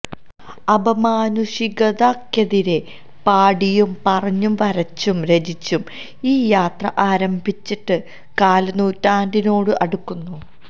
അപമാനുഷികതക്കെതിരെ പാടിയും പറഞ്ഞും വരച്ചും രചിച്ചും ഈ യാത്ര ആരംഭിച്ചിട്ട് കാല് നൂറ്റാണ്ടിനോട് അടുക്കുന്നു